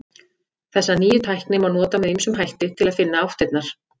Þessa nýju tækni má nota með ýmsum hætti til að finna áttirnar.